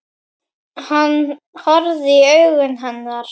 Hann horfði í augu hennar.